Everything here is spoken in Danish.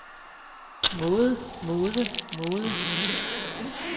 måde måde måde